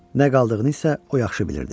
Nə qaldığını isə o yaxşı bilirdi.